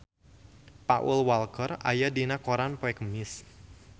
Paul Walker aya dina koran poe Kemis